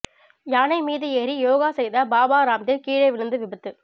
யானை மீது ஏறி யோகா செய்த பாபா ராம்தேவ் கீழே விழுந்து விபத்து